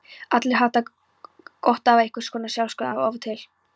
Allir hafa gott af einhvers konar sjálfsskoðun af og til.